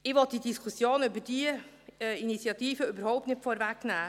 Ich will die Diskussion über diese Initiative überhaupt nicht vorwegnehmen;